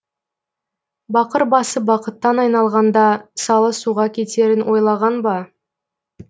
бақыр басы бақыттан айналғанда салы суға кетерін ойлаған ба